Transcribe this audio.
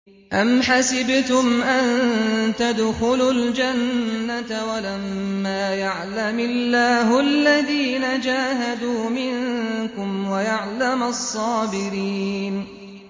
أَمْ حَسِبْتُمْ أَن تَدْخُلُوا الْجَنَّةَ وَلَمَّا يَعْلَمِ اللَّهُ الَّذِينَ جَاهَدُوا مِنكُمْ وَيَعْلَمَ الصَّابِرِينَ